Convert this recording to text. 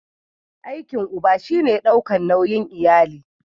Aikin uba shi ne daukar nauyin iyali.